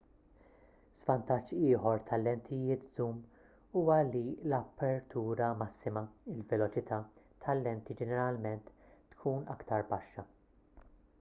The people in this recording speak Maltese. żvantaġġ ieħor tal-lentijiet żum huwa li l-apertura massima il-veloċità tal-lenti ġeneralment tkun aktar baxxa